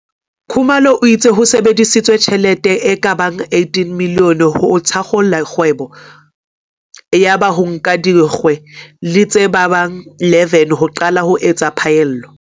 Khumalo o itse ho sebedisitswe tjhelete e ka bang R18 milione ho thakgola kgwebo yaba ho nka dikgwe di tse ka bang 11 ho qala ho etsa phaello.